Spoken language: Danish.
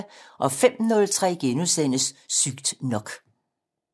05:03: Sygt nok *